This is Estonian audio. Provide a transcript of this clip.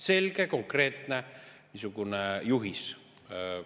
Selge konkreetne niisugune juhis.